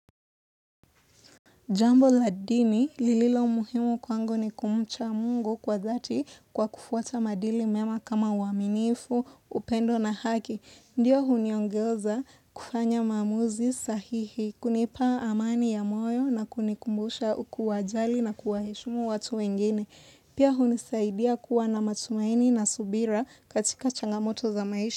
Jambo la dini, lililo muhimu kwangu ni kumcha mungu kwa dhati kwa kufuata maadili mema kama uaminifu, upendo na haki. Ndiyo huniongeoza kufanya maamuzi sahihi, kunipa amani ya moyo na kunikumbusha kuwajali na kuwaheshimu watu wengine. Pia hunisaidia kuwa na matumaini na subira katika changamoto za maisha.